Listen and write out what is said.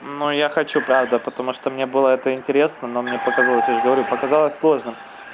но я хочу правда потому что мне было это интересно но мне показалось я же говорю показалось сложным